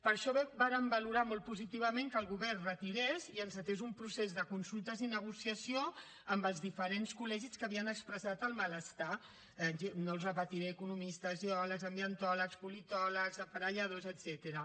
per això vàrem valorar molt positivament que el govern retirés i encetés un procés de consultes i negociació amb els diferents col·legis que havien expressat el malestar no els repetiré economistes geòlegs ambientòlegs politòlegs aparelladors etcètera